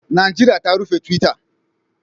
Najeriya ta rufe twitter